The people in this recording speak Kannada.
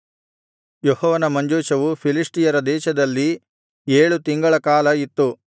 ಯೆಹೋವನ ಮಂಜೂಷವು ಫಿಲಿಷ್ಟಿಯರ ದೇಶದಲ್ಲಿ ಏಳು ತಿಂಗಳ ಕಾಲ ಇತ್ತು